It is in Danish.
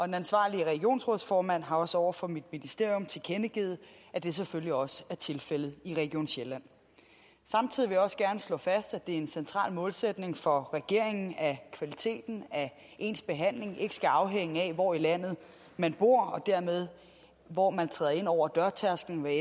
den ansvarlige regionsrådsformand har også over for mit ministerium tilkendegivet at det selvfølgelig også er tilfældet i region sjælland samtidig vil jeg også gerne slå fast at det er en central målsætning for regeringen at kvaliteten af ens behandling ikke skal afhænge af hvor i landet man bor og dermed hvor man træder ind over dørtærsklen hvad